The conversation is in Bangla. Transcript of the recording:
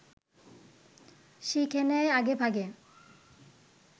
শিখে নেয় আগেভাগে